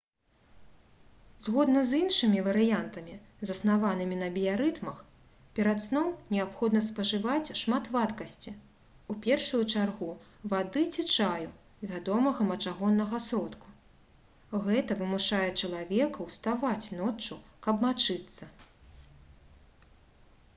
згодна з іншымі варыянтамі заснаванымі на біярытмах перад сном неабходна спажываць шмат вадкасці у першую чаргу вады ці чаю вядомага мачагоннага сродку — гэта вымушае чалавека ўставаць ноччу каб мачыцца